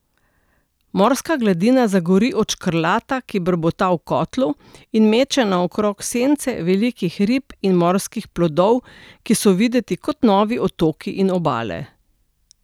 Morska gladina zagori od škrlata, ki brbota v kotlu, in meče naokrog sence velikih rib in morskih plodov, ki so videti kot novi otoki in obale.